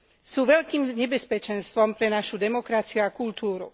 Sú veľkým nebezpečenstvom pre našu demokraciu a kultúru.